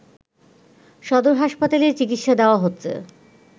সদর হাসাপাতালে চিকিৎসা দেয়া হচ্ছে